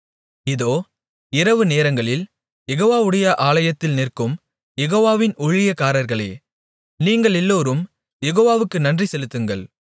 இதோ இரவுநேரங்களில் யெகோவாவுடைய ஆலயத்தில் நிற்கும் யெகோவாவின் ஊழியக்காரர்களே நீங்களெல்லோரும் யெகோவாவுக்கு நன்றிசெலுத்துங்கள்